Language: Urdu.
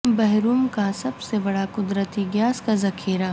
بحر روم کا سب سے بڑا قدرتی گیس کا ذخیرہ